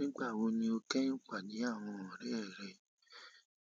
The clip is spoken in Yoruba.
Nígbà wo ni o kẹ́yin pàdé àwọn ọ̀rẹ́ rẹ?